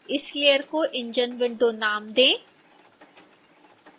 इस लेयर को enginewindow नाम दें